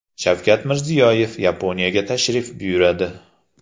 Shavkat Mirziyoyev Yaponiyaga tashrif buyuradi.